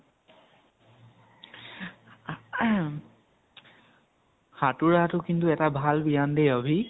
সাঁতুৰাটো কিন্তু এটা ভাল ব্য়য়াম দেই অভি।